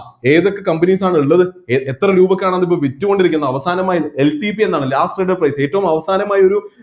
ഏതൊക്കെ companies ആണ് ഉള്ളത് എ എത്ര രൂപക്കാണ് അത് ഇപ്പൊ വിറ്റുകൊണ്ടിരിക്കുന്നത് അവസാനമായി LTP എന്നാണ് last traded price ഏറ്റവും അവസാനമായി ഒരു